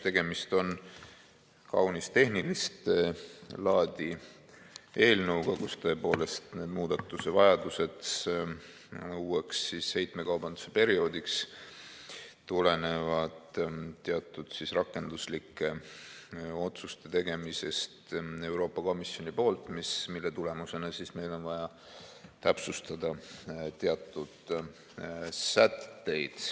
Tegemist on kaunis tehnilist laadi eelnõuga, kus tõepoolest need muudatusevajadused uueks heitmekaubanduse perioodiks tulenevad teatud rakenduslike otsuste tegemisest Euroopa Komisjoni poolt, mille tulemusena meil on vaja täpsustada teatud sätteid.